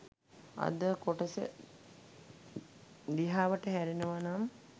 අද කොටස දිහාවට හැරෙනවා නම්